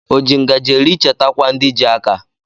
O ji ngaji eri chetakwa ndi ji aka